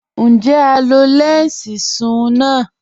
Njẹ́ à lọ lẹnsí sùn-un lànà?